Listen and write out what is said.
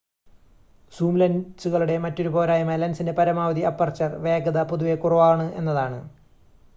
zoom ലെൻസുകളുടെ മറ്റൊരു പോരായ്മ ലെൻസിന്റെ പരമാവധി അപ്പർച്ചർ വേഗത പൊതുവെ കുറവാണ് എന്നതാണ്